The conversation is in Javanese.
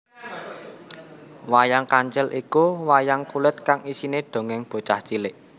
Wayang Kancil iku wayang kulit kang isine dongeng bocah cilik